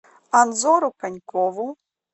анзору конькову